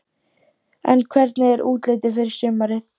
Hugrún: En hvernig er útlitið fyrir sumarið?